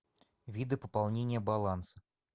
виды пополнения баланса